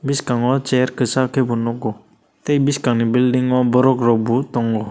bwskango chair kasak khe bo nugo tei bwskang ni bilding o borok rok bo tongo.